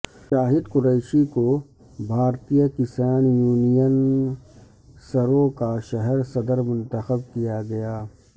شاہد قریشی کو بھارتیہ کسان یونین سرو کا شہر صدر منتخب کیا گیا